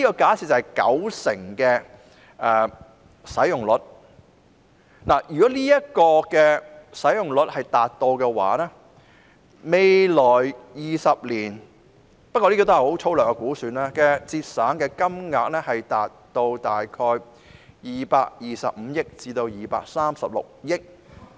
假設數碼使用率日後達到九成，按粗略估算，未來20年可節省的金額累計將達225億元至236億元。